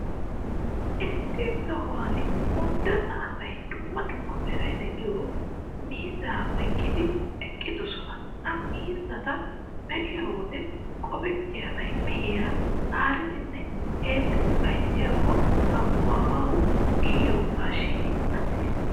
Issi sohuwan unddenna asay dumma dumma meray de'iyoo miizzaa oyqqidi eqqidoosona. Ha miizzata be'iyo wode qofettiyaabay, mehiyaa haaridinne heemmidi bazziyaakko aquwaawa kiyogaashin attiis.